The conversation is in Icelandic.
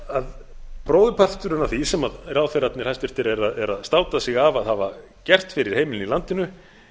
lána bróðurparturinn af því sem hæstvirtir ráðherrar státa sig af að hafa gert fyrir heimilin í landinu